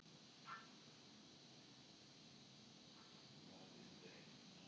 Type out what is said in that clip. Hún er sérstaklega gagnrýnin á innstillingu guðs almáttugs til barna, einkum þriðja heims barna.